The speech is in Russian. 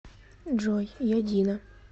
джой я дина